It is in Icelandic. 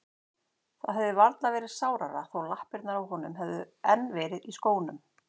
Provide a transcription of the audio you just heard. Það hefði varla verið sárara þó lappirnar á honum hefðu enn verið í skónum.